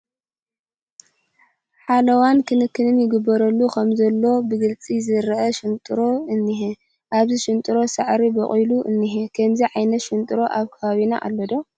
ሓለዋን ክንክን ይግበረሉ ከምዘሎ ብግልፂ ዝርአ ሽንጥሮ እኒሀ፡፡ ኣብዚ ሽንጥሮ ሳዕሪ በቑሉ እኒሀ፡፡ ከምዚ ዓይነት ሽንጥሮ ኣብ ከባቢና ኣሎ ዶ?